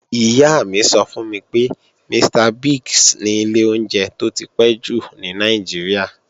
Ìyá mi sọ fún mi pé, Mr. Biggs ni ilé oúnjẹ tó ti pẹ́ jù ní Nàìjíríà.